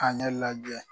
Ka ne lajɛ